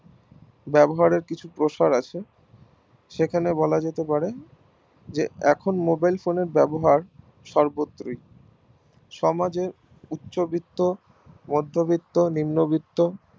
ব্যবহারের কিছু প্রকার আছে যেখানে বলা যেতে পারে যে এখন mobile phone এর ব্যবহার সর্বত্রই সমাজে উচ্ছ বৃত্ত মদ্ধ বৃত্ত নিম্ন বৃত্ত